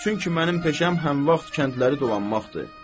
Çünki mənim peşəm həm vaxt kəndləri dolanmaqdır.